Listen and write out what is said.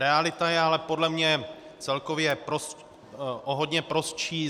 Realita je ale podle mě celkově o hodně prostší.